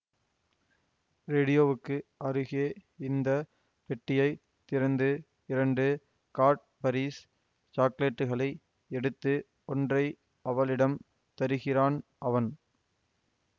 ரேடியோவுக்கு அருகே இருந்த பெட்டியை திறந்து இரண்டு காட்பரீஸ் சாக்லெட்டுகளை எடுத்து ஒன்றை அவளிடம் தருகிறான் அவன்